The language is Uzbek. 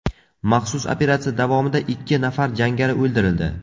Maxsus operatsiya davomida ikki nafar jangari o‘ldirildi.